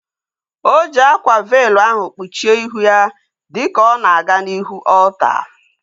O ji akwa veelu ahu kpuchie ihu ya dịka ọ na-aga n'ihu ọlta